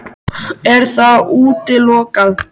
Er það útilokað?